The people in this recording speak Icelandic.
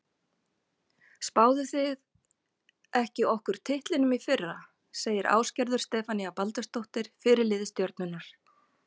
Spáðuð þið ekki okkur titlinum í fyrra? segir Ásgerður Stefanía Baldursdóttir, fyrirliði Stjörnunnar.